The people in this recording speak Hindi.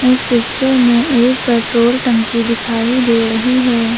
इस पिक्चर में एक पेट्रोल टंकी दिखाई दे रही है।